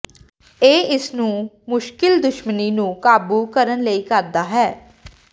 ਇਹ ਇਸ ਨੂੰ ਮੁਸ਼ਕਲ ਦੁਸ਼ਮਣੀ ਨੂੰ ਕਾਬੂ ਕਰਨ ਲਈ ਕਰਦਾ ਹੈ